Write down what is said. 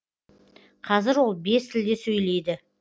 қазір ол бес тілде сөйлейді